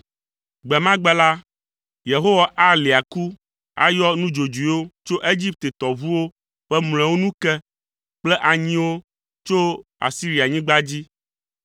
Gbe ma gbe la, Yehowa alia aku ayɔ nudzodzoewo tso Egipte tɔʋuwo ƒe mlɔewo nu ke kple anyiwo tso Asirianyigba dzi